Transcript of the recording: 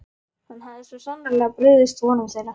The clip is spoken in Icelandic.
Hann hafði svo sannarlega brugðist vonum þeirra.